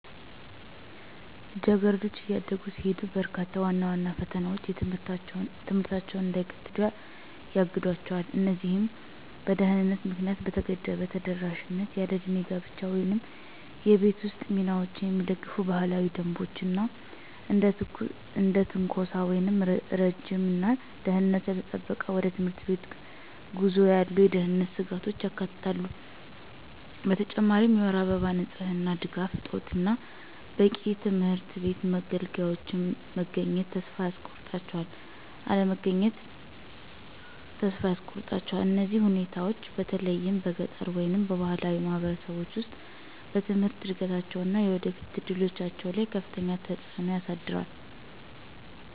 ልጃገረዶች እያደጉ ሲሄዱ፣ በርካታ ዋና ዋና ፈተናዎች ትምህርታቸውን እንዳይቀጥሉ ያግዷቸው። እነዚህም በድህነት ምክንያት የተገደበ ተደራሽነት፣ ያለዕድሜ ጋብቻን ወይም የቤት ውስጥ ሚናዎችን የሚደግፉ ባህላዊ ደንቦች፣ እና እንደ ትንኮሳ ወይም ረጅም እና ደህንነቱ ያልተጠበቀ ወደ ትምህርት ቤት ጉዞ ያሉ የደህንነት ስጋቶችን ያካትታሉ። በተጨማሪም የወር አበባ ንጽህና ድጋፍ እጦት እና በቂ የትምህርት ቤት መገልገያዎች መገኘትን ተስፋ ያስቆርጣቸዋል። እነዚህ ሁኔታዎች፣ በተለይም በገጠር ወይም በባህላዊ ማህበረሰቦች ውስጥ፣ በትምህርት እድገታቸው እና የወደፊት እድሎቻቸው ላይ ከፍተኛ ተጽዕኖ ያሳድራል።